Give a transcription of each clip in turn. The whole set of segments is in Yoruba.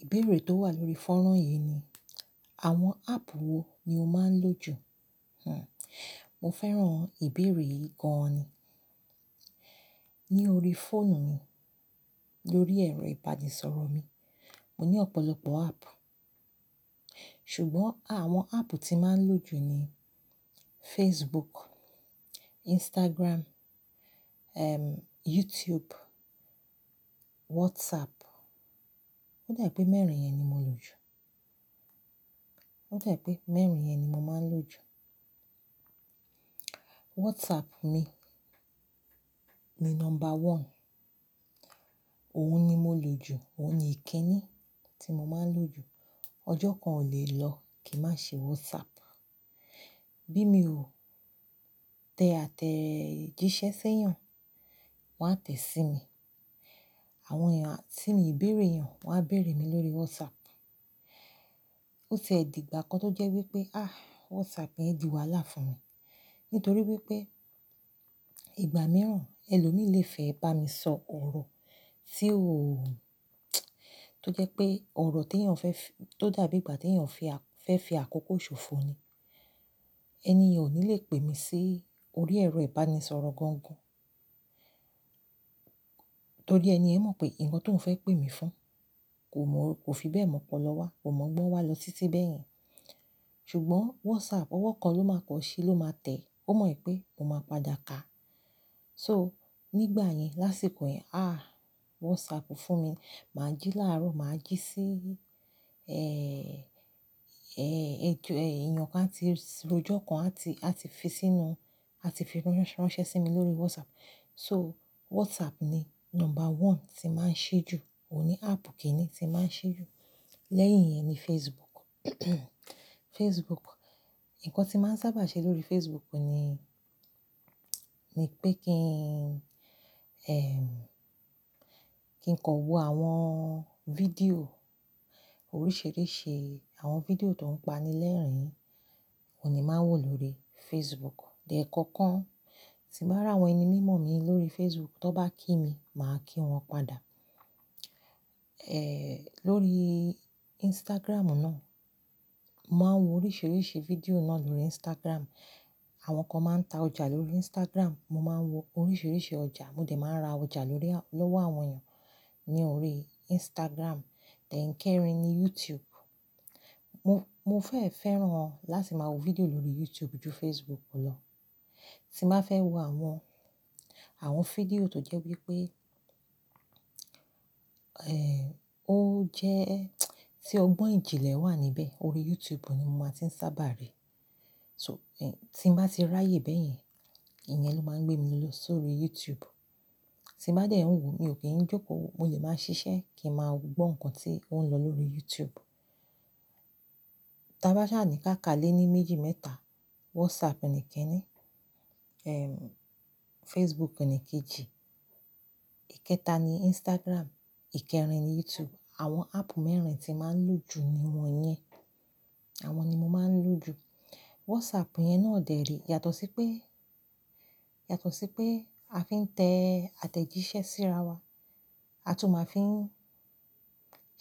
Ìbéèrè tó wà lórí fọ́rán yìí ni, àwọn áàpù wo ni o máa ń lò jù? Hhn, mo fẹ́ràn ìbéèrè yìí gan ni. Ní orí fóònù mi, lórí ẹ̀rọ ìbánisọ̀rọ̀ mi, mo ní ọ̀pọ̀lọpọ̀ áàpù, ṣùgbọ́n àwọn áàpù tí màá ń lò jù ni Facebook, Instagram, ẹm, YouTube, WhatsApp. Ó dà pé mẹ́rin yẹn ni mò ń lò jù. Ó dà pé mẹ́rin yẹn ni mo máa ń lò jù. WhatsApp mi, ni number one. Òun ni mò ń lò jù, òun ni ìkínni tí mo máa ń lò jù. Ọjọ́ kan ò lè lọ kí i má ṣe WhatsApp. Bí mi ò tẹ àtẹ̀jíṣẹ́ sẹ́yàn, wọ́n á tẹ̀ sí mi. Àwọn èèyàn tí mi ìbéèrè yàn, wọ́n á bèèrè mi lórí WhatsApp. Ó ti e dí ìgbà kan tó jẹ́ wípé, ah, WhatsApp yẹn di wàhálà fún mi, nítorí wípé ìgbà mìíràn ẹlòmíì lé fẹ́ bá mi sọ ọ̀rọ̀ tí óò-- tó jẹ́ pé ọ̀rọ̀ tí èèyàn fẹ́ fi-- tó dàbí ìgbà tí èèyàn fẹ́ fi àkókò ṣòfò ni, ẹni yen ò ní le pè mí sí orí ẹ̀rọ ìbánisọ̀rọ̀ gangan. Torí ẹni ẹ mọ̀ pé, ǹkan tó ń fẹ́ pè mí fún kò mọ̀, kò fi bẹ́ẹ̀ mọ̀ ọ́polo wa, kò mọ̀gbọ́n wá lọ títí bẹ́ẹ̀ yẹn. Ṣùgbọ́n WhatsApp, ọwọ́ kan ló máa kọ ṣí ló máa tẹ̀, ó mọ̀ pé mo máa padà kà á. So, nígbà yẹn, lásìkò yẹn, ah, WhatsApp fún mi, mà á jí láàárọ̀, mà á jí sí, ẹ́ẹ́ẹ́, ẹ́, èèè, èèyàn kan á ti-- rọ́jọ́ kan á ti, á ti fi sínú, á ti fi ránṣẹ́ sí mi lórí WhatsApp. So, WhatsApp ni number one tí màá ń ṣe jù. Ò ní áàpù kíní tí màá ń ṣe jù. Lẹ́yìn yẹn ni Facebook. Facebook, ǹkan tí màá ń sábà ṣe lórí Facebook ni, ni pé kí n, ẹm, kí n kọ wo àwọn fídíò oríṣìíríṣìí. Àwọn fídíò tó ń panilẹ́rìn ni màá ń wò lórí Facebook. De e kankan, ti bá rà àwọn ẹni mímọ̀ mi lórí Facebook, tó bá kí mi, mà á kí wọn padà. Ẹ̀, lórí Instagram náà, mà á wo oríṣìíríṣìí fídíò náà lórí Instagram. Àwọn kan máa ń ta ọjà lórí Instagram, mo máa ń wo oríṣìíríṣìí ọjà, mo dẹ̀ máa ń ra ọjà lórí à-- lọ́wọ́ àwọn èèyàn ní orí Instagram. Ẹ̀ẹ̀kẹrin ni YouTube. Mo, mo fẹ́, fẹ́ràn láti máa wo fídíò lórí YouTube ju Facebook lọ. Tí màá fẹ́ wo àwọn, àwọn fídíò tó jẹ́ wípé, ẹ́ẹ́, ó jẹ́ tí ọgbọ́n ìjìnlẹ̀ wà níbẹ̀, orí YouTube ni mo máa ti ń sábà rí i. So, ẹ́, tí màá ti ráyè bẹ́ẹ̀ yẹn, ìyẹn ló máa ń gbé mi lọ sórí YouTube. Tí màá dẹ̀ ẹ́ hun wò, mi ò kí ń jókòó, mo lè máa ń ṣiṣẹ́ kí n máa gbọ́ ǹkan tí ó ń lọ lórí YouTube. Tí a bá ṣà níká ka l'éní, méjì, mẹ́ta, WhatsApp ni ikíní, ẹm, Facebook ni kejì, ìkẹta ni Instagram, ìkẹrin ni YouTube. Àwọn áàpù mẹ́rin tí màá ń lò jù ni wọ́n yẹn. Àwọn ni mo máa ń lò jù. WhatsApp yẹn náà dèrí, yàtọ̀ sí pé, yàtọ̀ sí pé a fi ń tẹ àtẹ̀jíṣẹ́ síra wa, a tún máa fi ń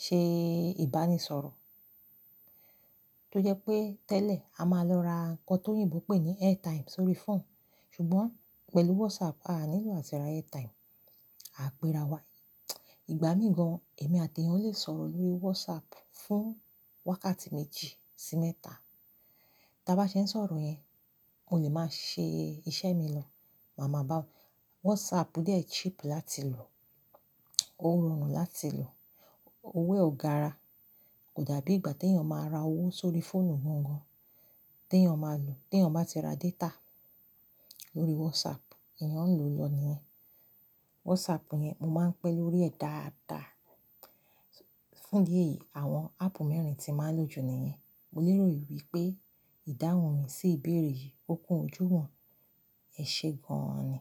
ṣe ìbánisọ̀rọ̀. Tó jẹ́ pé tẹ́lẹ̀, a máa lọ ra ǹkan tó yín ìbò pè ní airtime sórí fóònù, ṣùgbọ́n pẹ̀lú WhatsApp, a nílò àti ra airtime, à á pe ra wá. Ìgbà míì gan, èmi àti èèyàn lè sọ̀rọ̀ lórí WhatsApp fún wákàtí méjì sí mẹ́ta. Tí a bá ṣe ń sọ̀rọ̀ yẹn, mo lè máa ṣe iṣẹ́ mi lọ, màá mọ̀ bá-- WhatsApp dẹ̀ cheap láti lò, ó rọrùn láti lò, owó ò gara. Kò dàbí ìgbà tí èèyàn máa ra owó sórí fóònù gangan tí èèyàn máa lò, tí èèyàn bá ti ra data lórí WhatsApp, èèyàn ń lò lọ níyẹn. WhatsApp yẹn, mo máa ń pẹ́ lórí ẹ̀ dáadáa. Fún idi ẹyìí, àwọn áàpù mẹ́rin tí màá ń lò jù ni yen. Mo lérò wípé ìdáhùn mi sí ìbéèrè yìí, ó kú ojú wọn. Ẹ ṣe gan ni.